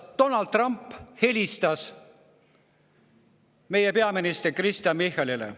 Donald Trump helistas meie peaminister Kristen Michalile.